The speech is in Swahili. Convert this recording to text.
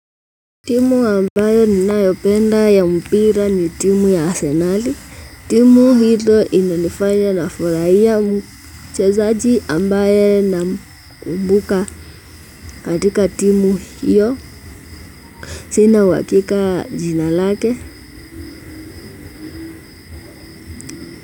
Timu ambayo ninayopenda ya mpira ni timu ya asenali. Timu hio inanifanya nafurahia mchezaji ambaye namkumbuka katika timu hiyo. Sina uhakika jina lake.